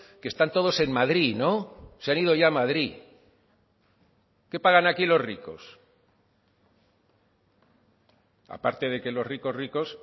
que están todos en madrid no se han ido ya a madrid qué pagan aquí los ricos aparte de que los ricos ricos